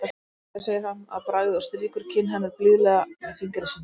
Fyrirgefðu, segir hann að bragði og strýkur kinn hennar blíðlega með fingri sínum.